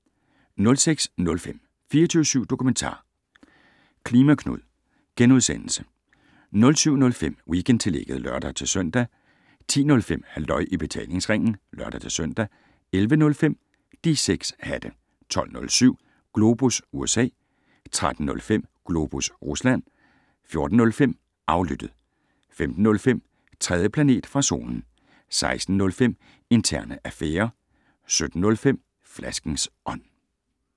06:05: 24syv Dokumentar: "klima Knud" * 07:05: Weekendtillægget (lør-søn) 10:05: Halløj i Betalingsringen (lør-søn) 11:05: De 6 hatte 12:07: Globus USA 13:05: Globus Rusland 14:05: Aflyttet 15:05: 3. planet fra solen 16:05: Interne Affærer 17:05: Flaskens Ånd